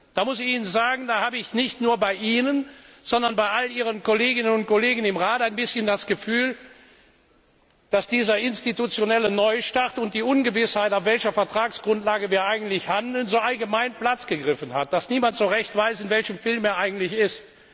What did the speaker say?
Da muss ich Ihnen sagen, da habe ich nicht nur bei Ihnen, sondern bei all Ihren Kolleginnen und Kollegen im Rat ein bisschen das Gefühl, dass dieser institutionelle Neustart und die Ungewissheit, auf welcher Vertragsgrundlage wir eigentlich handeln, allgemein Platz gegriffen hat, dass niemand so recht weiß, in welchem Film er eigentlich ist.